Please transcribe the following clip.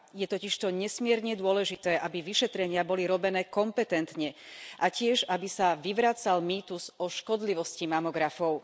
Je totižto nesmierne dôležité, aby vyšetrenia boli robené kompetentne a tiež aby sa vyvracal mýtus o škodlivosti mamografov.